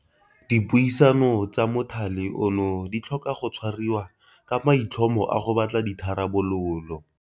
Dipuisano tsa mothale ono di tlhoka go tshwariwa ka maitlhomo a go batla ditha rabololo.